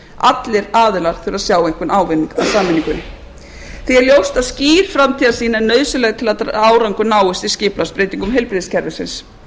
allir aðilar þurfa að sjá einhvern ávinning að sameiningunni því er ljóst að skýr framtíðarsýn er nauðsynleg til að árangur náist í skipulagsbreytingum heilbrigðiskerfisins